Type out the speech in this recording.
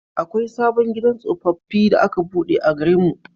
Akwai sabon gidan tsofaffi da aka buɗe a garin mu.